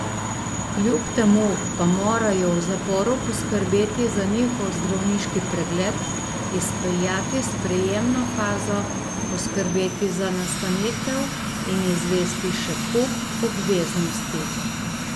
Kljub temu pa morajo v zaporu poskrbeti za njihov zdravniški pregled, izpeljati sprejemno fazo, poskrbeti za nastanitev in izvesti še kup obveznosti.